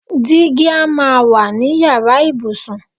Digi a máa wà ní yàrá ìbùsùn.